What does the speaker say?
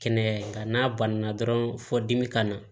Kɛnɛya nka n'a banna dɔrɔn fɔ dimi kana